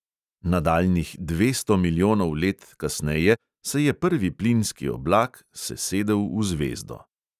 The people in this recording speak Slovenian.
Nadaljnjih dvesto milijonov let kasneje se je prvi plinski oblak sesedel v zvezdo.